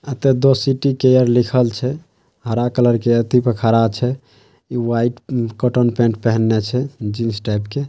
द city care लिखल छै। हरा कलर के एक खड़ा छै। व्हाइट कॉटन पैंट पहिन्ने छै जीन्स टाइप के।